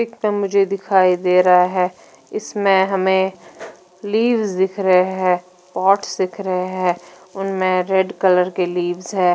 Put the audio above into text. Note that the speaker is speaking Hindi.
दिखाई दे रहा है इसमें हमे लीव्स दिख रहे हैं पॉट्स दिख रहे है उनमे रेड कलर के लीव्स है।